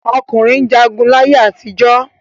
Ọkùnrin jagun láyé àtijọ́.